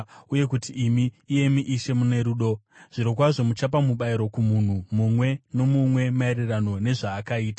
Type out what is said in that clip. uye kuti imi, iyemi Ishe, mune rudo. Zvirokwazvo muchapa mubayiro kumunhu mumwe nomumwe maererano nezvaakaita.